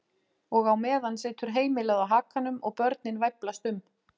Og á meðan situr heimilið á hakanum og börnin væflast um.